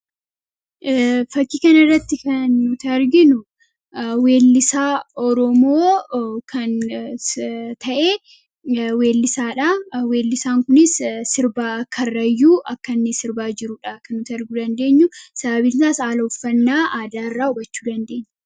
fakkii kana irratti kan nuti arginu weellisaa oromoo kan ta'e weellisaan kunis sirba kaarrayyuu akka inni sirbaa jiruudha. kan nuti arguu dandeenyu sababiin isaas haala uffannaa aadaa irraa hubachuu dandeenya.